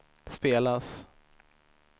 spelas